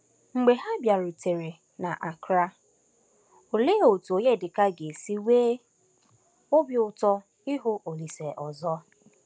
Mgbe ha bịarutere n’Accra, òlee otú Onyedịka ga-esi nwee obi ụtọ ịhụ Olíse ọzọ!